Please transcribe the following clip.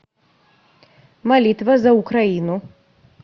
молитва за украину